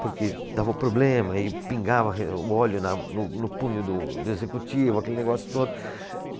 Porque davam problema e pingava re, o óleo na, no, no punho do, do executivo, aquele negócio todo.